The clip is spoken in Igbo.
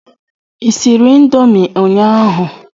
ị siri Indomie ụnyaahụ?